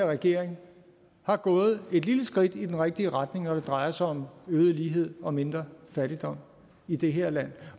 regering er gået et lille skridt i den rigtige retning når det drejer sig om øget lighed og mindre fattigdom i det her land